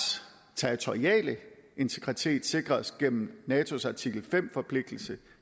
territoriale integritet sikres gennem natos artikel fem forpligtelse